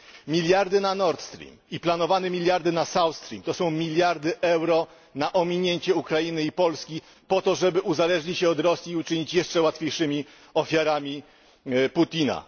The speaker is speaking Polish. Miliardy na Nord Stream i planowane miliardy na South Stream, to są miliardy euro na ominięcie Ukrainy i Polski po to, aby uzależnić się od Rosji i stać się jeszcze łatwiejszymi ofiarami Putina.